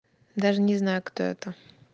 даже не знаю кто это